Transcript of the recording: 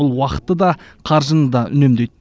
бұл уақытты да қаржыны да үнемдейді